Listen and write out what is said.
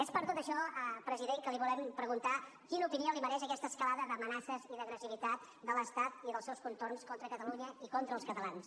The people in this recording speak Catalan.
és per tot això president que li volem preguntar quina opinió li mereix aquesta escalada d’amenaces i d’agressivitat de l’estat i dels seus contorns contra catalunya i contra els catalans